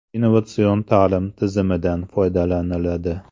Innovatsion ta’lim tizimidan foydalaniladi.